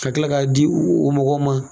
Ka kila k'a di, o mɔgɔw ma